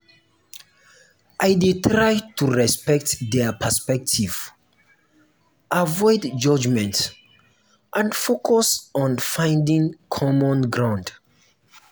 i dey try to respect dia perspective avoid judgment and focus on finding common ground.